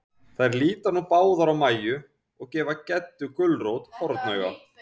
Þær líta nú báðar á Mæju, og gefa Geddu gulrót hornauga.